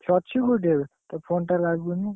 ସେ ଅଛି କୋଉଠି ଏବେ? ତା phone ଟା ଲାଗୁନି?